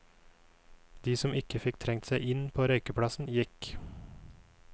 De som ikke fikk trengt seg inn på røykeplass, gikk.